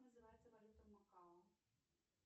называется валюта макао